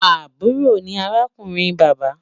Àbúrò ni arákùnrin bàbá